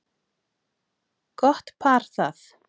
Gott par það.